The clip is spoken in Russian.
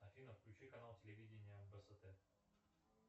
афина включи канал телевидения бст